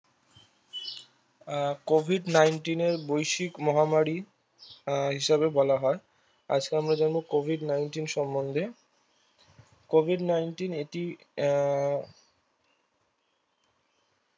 আহ Covid nineteen এ বৈশ্বিক মহামারি আহ হিসাবে বলা হয়। আজকে আমরা জানবো Covid Nineteen সম্মন্ধে Covid Nineteen এটি আহ